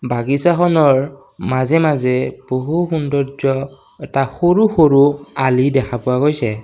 বাগিছাখনৰ মাজে মাজে বহু সৌন্দৰ্য্য এটা সৰু সৰু আলি দেখা পোৱা গৈছে।